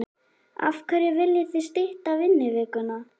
Af hverju viljið þið stytta vinnuvikuna?